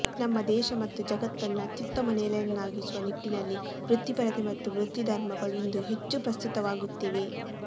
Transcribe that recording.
ನಮ್ಮ ದೇಶ ಮತ್ತು ಜಗತ್ತನ್ನು ಅತ್ಯುತ್ತಮ ನೆಲೆಯನ್ನಾಗಿಸುವ ನಿಟ್ಟಿನಲ್ಲಿ ವೃತ್ತಿಪರತೆ ಮತ್ತು ವೃತ್ತಿಧರ್ಮಗಳು ಇಂದು ಹೆಚ್ಚು ಪ್ರಸ್ತುತವಾಗುತ್ತಿವೆ